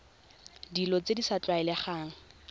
dilo tse di sa tlwaelegang